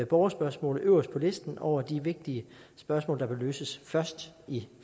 borgerspørgsmålet øverst på listen over de vigtige spørgsmål der bør løses først i